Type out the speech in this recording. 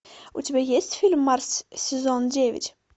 у тебя есть фильм марс сезон девять